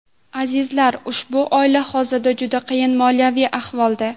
Azizlar, ushbu oila hozirda juda qiyin moliyaviy ahvolda.